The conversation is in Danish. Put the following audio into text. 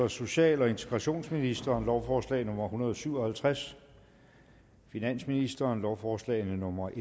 social og integrationsministeren lovforslag nummer hundrede og syv og halvtreds finansministeren lovforslag nummer